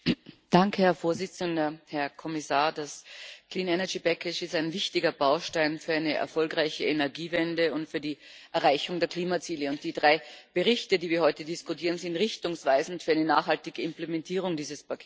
Herr Präsident, Herr Kommissar! Das ist ein wichtiger Baustein für eine erfolgreiche Energiewende und für die Erreichung der Klimaziele. Die drei Berichte, über die wir heute diskutieren, sind richtungsweisend für eine nachhaltige Implementierung dieses Pakets.